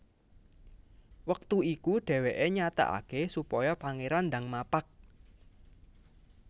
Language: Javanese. Wektu iku dhèwèké nyatakaké supaya Pangéran ndang mapag